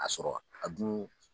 A sɔrɔ, a dun